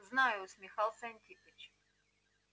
знаю усмехался антипыч